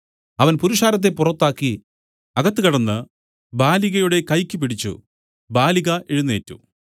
അവൻ പുരുഷാരത്തെ പുറത്താക്കി അകത്ത് കടന്ന് ബാലികയുടെ കൈയ്ക്ക് പിടിച്ച് ബാലിക എഴുന്നേറ്റ്